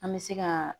An bɛ se ka